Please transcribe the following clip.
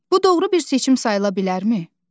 Bu doğru bir seçim sayıla bilərmi?